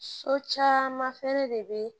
So caman fɛnɛ de bɛ